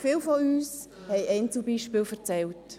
Viele von uns haben Einzelbeispiele erzählt.